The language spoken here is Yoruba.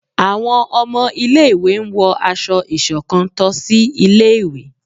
Àwọn ọmọ ilẹ̀ ìwé n wọ aṣọ-isọ̀kán to sì ilé ìwé